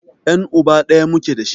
Yan' uba ɗaya muke dashi.